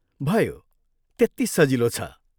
भयो, त्यत्ति सजिलो छ।